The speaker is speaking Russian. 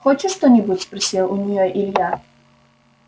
хочешь что-нибудь спросил у нее илья